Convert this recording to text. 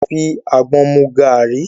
A lè fi àgbọn mu gàri.